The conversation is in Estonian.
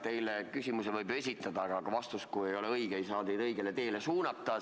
Teile küsimusi võib esitada, aga vastus, kui ei ole õige, ei saa teid õigele teele suunata.